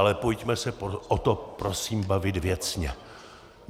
Ale pojďme se o tom prosím bavit věcně.